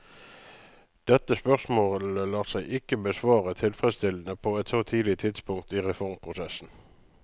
Dette spørsmålet lar seg ikke besvare tilfredsstillende på et så tidlig tidspunkt i reformprosessen.